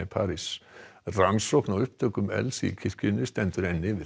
rannsókn á upptökum elds í kirkjunni stendur enn yfir